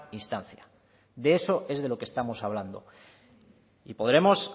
instancia de eso es de lo que estamos hablando y podremos